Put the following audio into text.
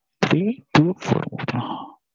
three two four one ah